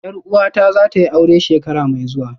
Yar uwata zatayi aure shekara mai zuwa